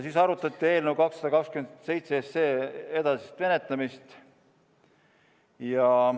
Siis arutati eelnõu 227 edasist menetlemist.